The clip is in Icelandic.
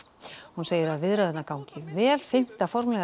hún segir að viðræðurnar gangi vel fimmta formlega